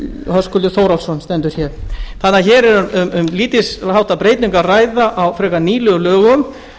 höskuldur þórhallsson hér er um lítilháttar breytingu að ræða á frekar nýlegum lögum